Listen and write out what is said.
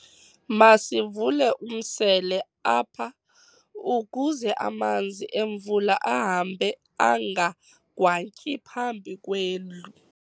Masivule umsele apha ukuze amanzi emvula ahambe angagwantyi phambi kwendlu.